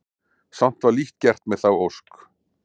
Samt var lítt gert með þá ósk.